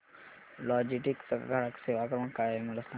Logitech चा ग्राहक सेवा क्रमांक काय आहे मला सांगा